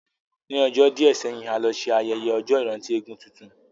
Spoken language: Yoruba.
Ní ọjọ́ díẹ̀ sẹ́yìn, a lọ ṣe ayẹyẹ ọjọ́ ìrántí eégún tuntun